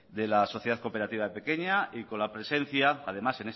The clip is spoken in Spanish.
sociedad cooperativa pequeña y con la presencia